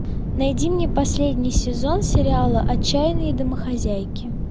найди мне последний сезон сериала отчаянные домохозяйки